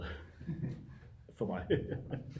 For mig